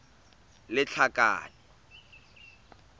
lethakane